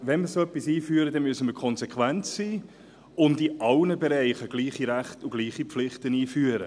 Wenn wir sowas aber einführen, müssen wir konsequent sein und in allen Bereichen gleiche Rechten und gleiche Pflichten einführen.